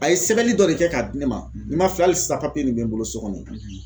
A ye sɛbɛli dɔ de kɛ k'a di ne ma, ne ma filɛ hali sisan papiye nin bɛ n bolo so kɔnɔ yen.